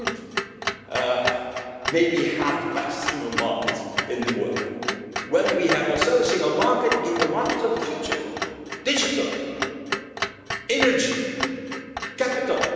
bit. We could maybe have the best single market in the world when we also have a single market in the markets of the future digital, energy, capital.